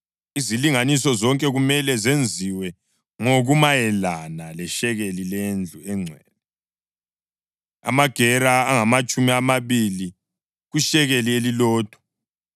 Izilinganiso zonke kumele zenziwe ngokumayelana leshekeli lendlu engcwele, amagera angamatshumi amabili kushekeli elilodwa.